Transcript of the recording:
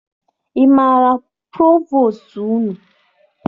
Ị maara provostu unu?